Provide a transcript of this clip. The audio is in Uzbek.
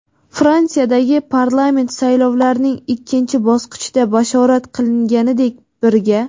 Fransiyadagi parlament saylovlarining ikkinchi bosqichida bashorat qilinganidek, "Birga!"